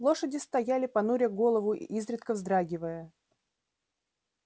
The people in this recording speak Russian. лошади стояли понуря голову и изредка вздрагивая